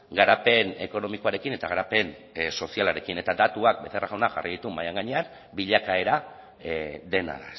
garapen ekonomikoarekin eta garapen sozialarekin eta datuak becerra jaunak jarri ditu mahaian gainean bilakaera dena